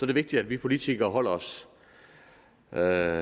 det vigtigt at vi politikere holder os før